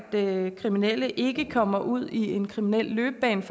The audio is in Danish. kriminelle ikke kommer ud i en kriminel løbebane